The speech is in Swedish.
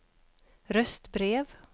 röstbrev